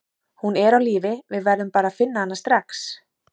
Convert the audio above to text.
Hún er á lífi, við verðum bara að finna hana strax.